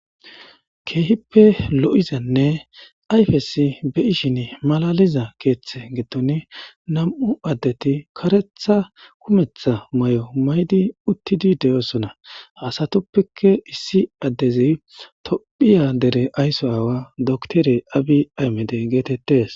Keehippe lo7izanne ayfesi be ishin malaliza keeththe getton nam7u addeti karetha kumetha may7o maydi uttidi de7oosona hasatuppeke issi addezi tophiya dere aysso aawa doktere abi aymede geetettes